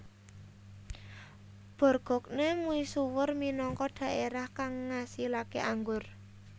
Bourgogne misuwur minangka dhaerah kang ngasilaké anggur